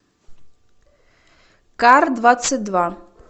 кардвадцатьдва